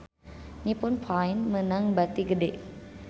Nippon Paint meunang bati gede